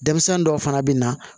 Denmisɛnnin dɔw fana bɛ na